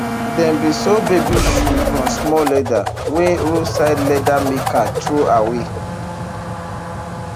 dem bin sew baby shoe from small leather wey roadside leather maker throwaway